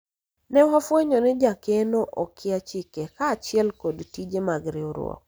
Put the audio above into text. ne wafwenyo ni jakeno okia chike kaachiel kod tije mag riwruok